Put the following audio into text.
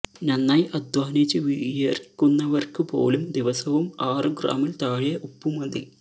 നന്നായി അദ്ധ്വാനിച്ചു വിയര്ക്കുന്നവര്ക്കുപോലും ദിവസവും ആറു ഗ്രാമില് താഴെ ഉപ്പു മതി